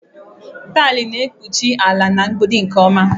Taịlị na-ekpuchi ala na mgbidi nke ọma